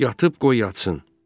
Yatıb qoy yatsın.